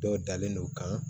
Dɔw dalen no kan